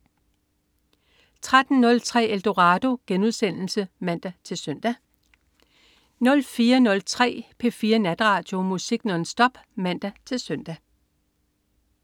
03.03 Eldorado* (man-søn) 04.03 P4 Natradio. Musik nonstop (man-søn)